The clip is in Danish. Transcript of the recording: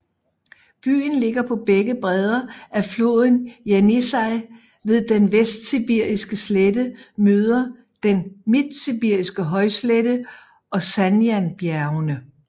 Byen ligger på begge bredder af floden Jenisej ved den Vestsibiriske slette møder den Midtsibiriske højslette og Sajanbjergene